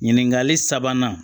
Ɲininkali sabanan